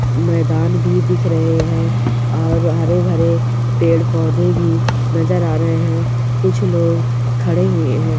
मैदान भी दिख रहे है और हरे भरे पेड़ पौधे भी नजर आ रहे है कुछ लोग खड़े हुए है।